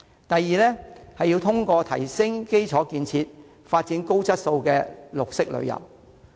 第二是通過提升基礎建設，發展高質素的綠色旅遊。